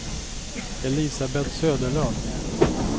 Elisabeth Söderlund